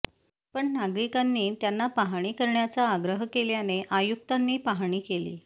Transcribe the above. मात्र नागरिकांनी त्यांना पाहणी करण्याचा आग्रह केल्याने आयुक्तांनी पाहणी केली